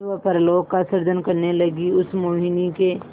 स्वप्नलोक का सृजन करने लगीउस मोहिनी के